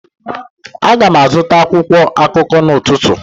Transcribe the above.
Aga m azụta akwụkwọ akụkọ n'ụtụtụ